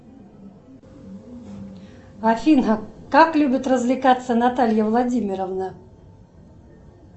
афина как любит развлекаться наталья владимировна